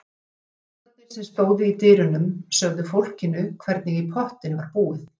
Lögregluþjónarnir sem stóðu í dyrunum sögðu fólkinu hvernig í pottinn var búið.